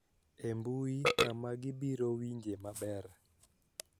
E mbui kama gibiro winje maber